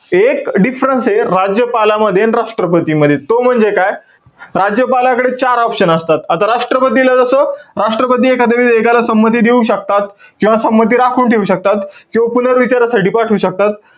एक difference ए, राज्यपालामध्ये आणि राष्ट्रपतीमध्ये. तो म्हणजे काय? राज्यपालाकडे चार option असतात. आता राष्ट्रपतीला जस, राष्ट्रपती एखाद्या विधायकला संमती देऊ शकतात. किंवा संमती राखून ठेऊ शकतात. किंवा पुनर्विचारासाठी पाठवू शकतात.